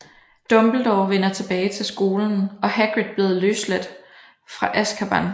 Dumbledore vender tilbage til skolen og Hagrid bliver løsladt fra Azkaban